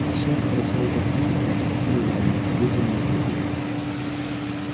а шеф прошёл к окну распахнул раму вытянул руку